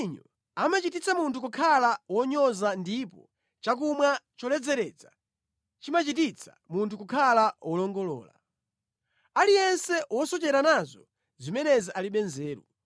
Vinyo amachititsa munthu kukhala wonyoza ndipo chakumwa choledzeretsa chimachititsa munthu kukhala wolongolola; aliyense wosochera nazo zimenezi alibe nzeru.